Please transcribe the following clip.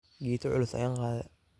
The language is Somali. Gita culus ayan kaade.